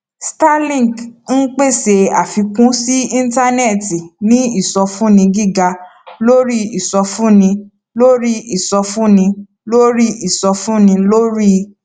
starlink ń pèsè àfikún sí íńtánẹẹtì ní ìsọfúnni gíga lórí ìsọfúnni lórí ìsọfúnni lórí ìsọfúnni lórí